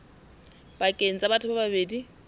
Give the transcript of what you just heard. pakeng tsa batho ba babedi